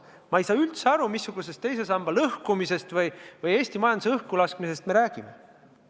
Ma ei saa üldse aru, missugusest teise samba lõhkumisest või Eesti majanduse õhkulaskmisest me räägime.